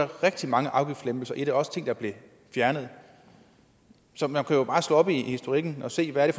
rigtig mange afgiftslempelser i den også ting der blev fjernet så man jo bare slå op i historikken og se hvad det